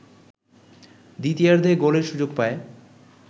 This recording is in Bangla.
দ্বিতীয়ার্ধে গোলের সুযোগ পায়